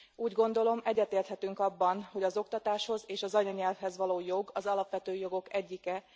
Úgy gondolom, egyetérthetünk abban, hogy az oktatáshoz és az anyanyelvhez való jog az alapvető jogok egyike.